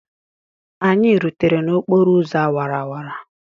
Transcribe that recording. Anyị rutere n'okporo ụzọ awara awara.